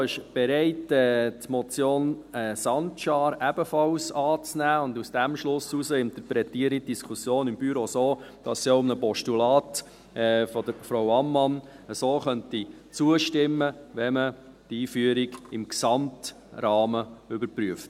Das Büro ist bereit, die Motion Sancar ebenfalls anzunehmen, und aus diesem Schluss heraus interpretiere ich die Diskussion im Büro so, dass es auch einem Postulat von Frau Ammann so zustimmen könnte, wenn man die Einführung im gesamten Rahmen überprüft.